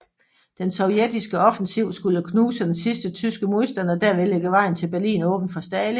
Den sovjetiske offensiv skulle knuse den sidste tyske modstand og derved lægge vejen til Berlin åben for Stalin